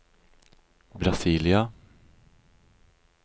Brasília